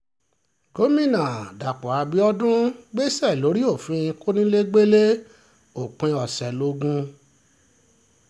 gomina dapò abiodun gbèsè lórí òfin kọnilẹgbẹlẹ òpin ọ̀sẹ̀ logun